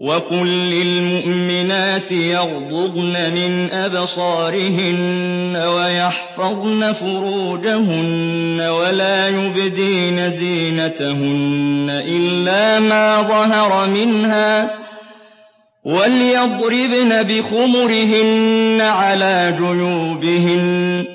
وَقُل لِّلْمُؤْمِنَاتِ يَغْضُضْنَ مِنْ أَبْصَارِهِنَّ وَيَحْفَظْنَ فُرُوجَهُنَّ وَلَا يُبْدِينَ زِينَتَهُنَّ إِلَّا مَا ظَهَرَ مِنْهَا ۖ وَلْيَضْرِبْنَ بِخُمُرِهِنَّ عَلَىٰ جُيُوبِهِنَّ ۖ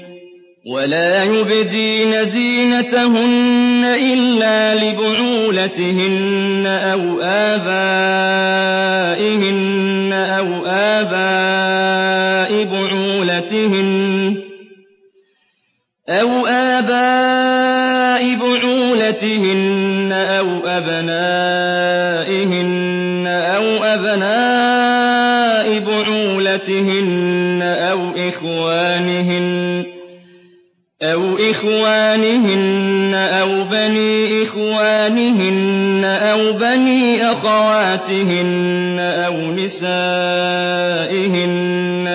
وَلَا يُبْدِينَ زِينَتَهُنَّ إِلَّا لِبُعُولَتِهِنَّ أَوْ آبَائِهِنَّ أَوْ آبَاءِ بُعُولَتِهِنَّ أَوْ أَبْنَائِهِنَّ أَوْ أَبْنَاءِ بُعُولَتِهِنَّ أَوْ إِخْوَانِهِنَّ أَوْ بَنِي إِخْوَانِهِنَّ أَوْ بَنِي أَخَوَاتِهِنَّ أَوْ نِسَائِهِنَّ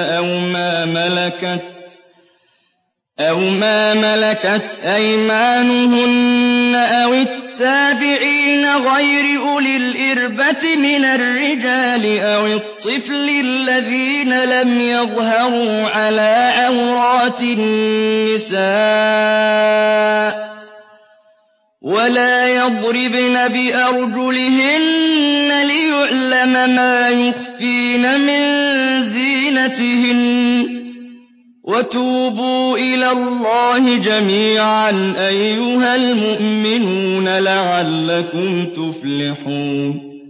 أَوْ مَا مَلَكَتْ أَيْمَانُهُنَّ أَوِ التَّابِعِينَ غَيْرِ أُولِي الْإِرْبَةِ مِنَ الرِّجَالِ أَوِ الطِّفْلِ الَّذِينَ لَمْ يَظْهَرُوا عَلَىٰ عَوْرَاتِ النِّسَاءِ ۖ وَلَا يَضْرِبْنَ بِأَرْجُلِهِنَّ لِيُعْلَمَ مَا يُخْفِينَ مِن زِينَتِهِنَّ ۚ وَتُوبُوا إِلَى اللَّهِ جَمِيعًا أَيُّهَ الْمُؤْمِنُونَ لَعَلَّكُمْ تُفْلِحُونَ